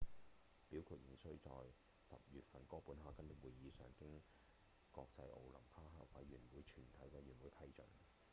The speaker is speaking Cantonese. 表決仍需在10月份的哥本哈根會議上經國際奧林匹克委員會全體委員批准